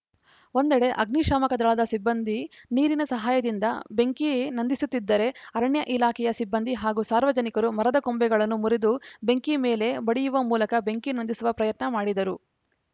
ಒಂದೆಡೆ ಅಗ್ನಿಶಾಮಕ ದಳದ ಸಿಬ್ಬಂದಿ ನೀರಿನ ಸಹಾಯದಿಂದ ಬೆಂಕಿ ನಂದಿಸುತ್ತಿದ್ದರೇ ಅರಣ್ಯ ಇಲಾಖೆಯ ಸಿಬ್ಬಂದಿ ಹಾಗೂ ಸಾರ್ವಜನಿಕರು ಮರದ ಕೊಂಬೆಗಳನ್ನು ಮುರಿದು ಬೆಂಕಿ ಮೇಲೆ ಬಡಿಯುವ ಮೂಲಕ ಬೆಂಕಿ ನಂದಿಸುವ ಪ್ರಯತ್ನ ಮಾಡಿದರು